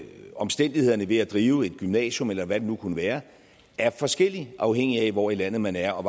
omstændighederne ved at drive et gymnasium eller hvad det nu kunne være er forskellige afhængigt af hvor i landet man er og